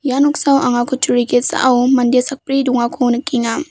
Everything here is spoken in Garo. ia noksao anga kutturi ge·sao mande sakbri dongako nikenga.